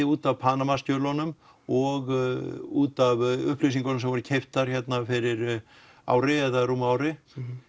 út af Panamaskjölunum og út af upplýsingunum sem voru keyptar fyrir ári eða rúmu ári